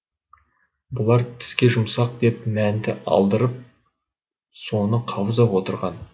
бұлар тіске жұмсақ деп мәнті алдырып соны қаузап отырған